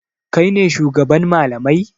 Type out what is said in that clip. Kai ne shugaban malamai?